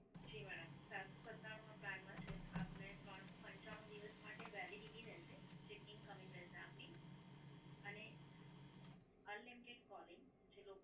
જી madam, સાતસો સત્તાણુ માં પ્લાન માં છે આપને ત્રણ સો પંચાણું દિવસ માટે Validity રહેશે જે Incoming રહેશે આપની. અને Unlimited calling જે Local